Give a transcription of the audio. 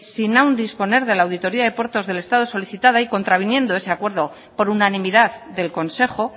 sin aún disponer de la auditoría de puertos del estado solicitada y contraviniendo ese acuerdo por unanimidad del consejo